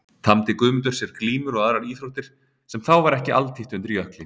Tamdi Guðmundur sér glímur og aðrar íþróttir sem þá var ekki altítt undir Jökli.